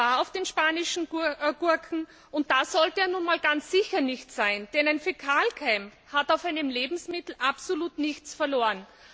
Er war auf den spanischen Gurken, und da sollte er nun einmal ganz sicher nicht sein, denn ein Fäkalkeim hat auf einem Lebensmittel absolut nichts verloren.